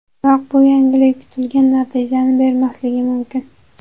Biroq bu yangilik kutilgan natijani bermasligi mumkin.